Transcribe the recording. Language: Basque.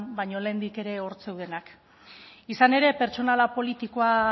baina lehendik ere hor zeudenak izan ere pertsonala politikoa